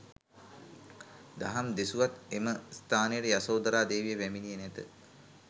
දහම් දෙසුවත් එම ස්ථානයට යශෝධරා දේවිය පැමිණියේ නැත.